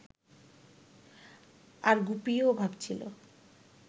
আর গুপিও ভাবছিল